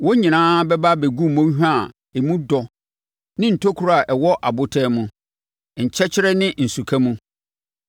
Wɔn nyinaa bɛba abɛgu mmɔnhwa a emu dɔ ne ntokuro a ɛwɔ abotan mu, nkyɛkyerɛ ne nsuka mu.